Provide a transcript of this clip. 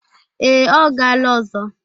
Ee, ọ gala ọzọ.